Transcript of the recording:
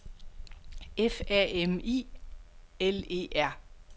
F A M I L E R